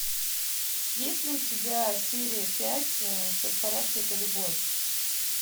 есть ли у тебя серия пять все в порядке это любовь